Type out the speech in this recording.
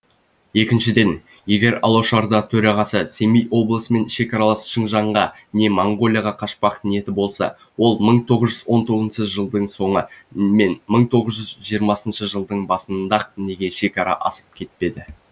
екіншіден егер алашорда төрағасының семей облысымен шекаралас шыңжаңға не монғолияға қашпақ ниеті болса ол мың тоғыз жүз он тоғызыншы жылдың соңы мен мың тоғыз жүз жиырмасыншы жылдың басында ақ неге шекара асып кетпеді